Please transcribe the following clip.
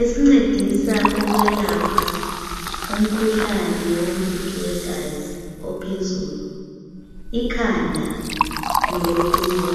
esincedisa ukwelapha umkhuhlane womfutho wegazi ophezulu ikhanda lowokuwa